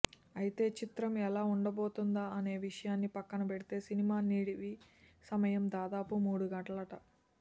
అయితే చిత్రం ఎలా ఉండబోతుందా అనే విషయాన్నీ పక్కనబెడితే సినిమా నిడివి సమయం దాదాపు మూడు గంటలట